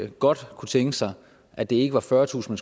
godt kunne tænke sig at det ikke var fyrretusind